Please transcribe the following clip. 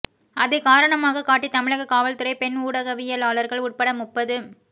அதை காரணமாகக் காட்டித் தமிழக காவல்துறை பெண் ஊடகவியலாளர்கள் உட்பட முப்பது